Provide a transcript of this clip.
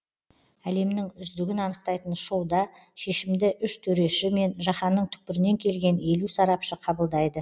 әлемнің үздігін анықтайтын шоуда шешімді үш төреші мен жаһанның түкпірінен келген елу сарапшы қабылдайды